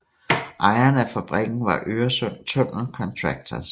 Ejeren af fabrikken var Øresund Tunnel Contractors